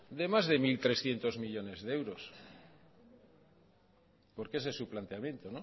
de más de mil trescientos millónes de euros porque ese es su planteamiento